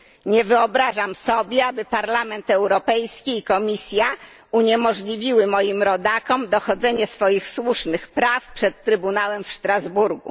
Nie wyobrażam sobie, aby Parlament Europejski i Komisja uniemożliwiły moim rodakom dochodzenie swoich słusznych praw przed Trybunałem w Strasburgu.